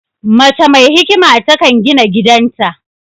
Mace mai hikima ta kan gina gidan ta